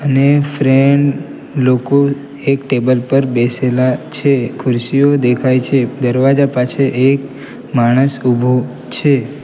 અને ફ્રેન્ડ લોકો એક ટેબલ પર બેસેલા છે ખુરશીઓ દેખાય છે દરવાજા પાસે એક માણસ ઉભો છે.